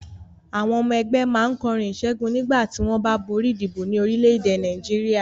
Àwọn ọmọ ẹgbẹ́ máa ń kọrin ìṣẹ́gun nígbà tí wọ́n bá borí ìdìbò ní orílẹ̀-èdè Nàìjíríà.